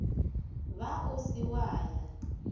ba o se wa ya